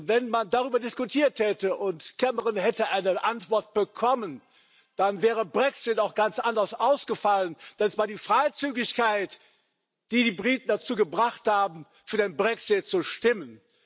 Wenn man darüber diskutiert hätte und Cameron eine Antwort bekommen hätte, dann wäre der Brexit auch ganz anders ausgefallen. Denn es war die Freizügigkeit, die die Briten dazu gebracht hat, für den Brexit zu stimmen.